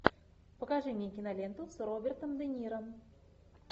покажи мне киноленту с робертом де ниро